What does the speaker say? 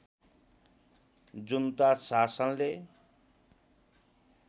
जुन्ता शासनले